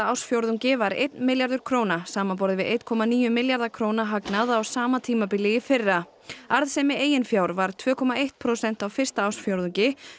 ársfjórðungi var einn milljarður króna samanborið við einn komma níu milljarða króna hagnað á sama tímabili í fyrra arðsemi eigin fjár var tvö komma eitt prósent á fyrsta ársfjórðungi